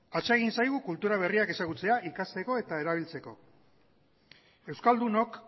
atsegin zaigu kultura berriak ezagutzea ikasteko eta erabiltzeko euskaldunok